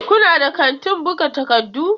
Kuna da kantin buga takardu?